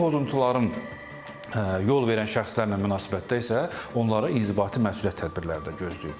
Bu pozuntuların yol verən şəxslərlə münasibətdə isə onlara inzibati məsuliyyət tədbirləri də gözləyir.